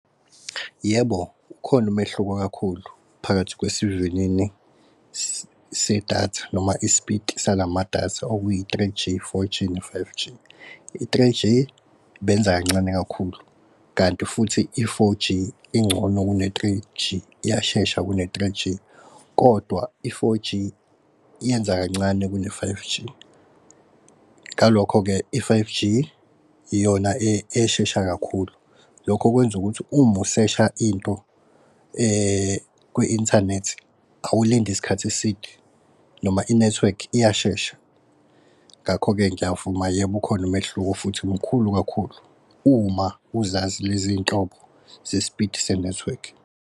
Yebo, ukhona umehluko kakhulu phakathi kwesivinini sedatha noma ispiti salama datha okuyi-three G, four G ne-five G. I-three G benza kancane kakhulu, kanti futhi i-four G ingcono kune-three G iyashesha kune-three G kodwa i-four G yenza kancane kune-five G. Ngalokho-ke i-five G, iyona eshesha kakhulu. Lokho kwenza ukuthi uma usesha into kwi-inthanethi awulindi isikhathi eside noma ineth'wekhi iyashesha. Ngakho-ke, ngiyavuma, yebo, ukhona umehluko futhi mkhulu kakhulu, uma uzazi lezi nhlobo zespiti seneth'wekhi.